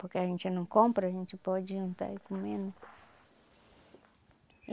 Porque a gente não compra, a gente pode ir andar e comendo.